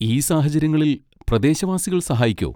ഈ സാഹചര്യങ്ങളിൽ പ്രദേശവാസികൾ സഹായിക്കോ?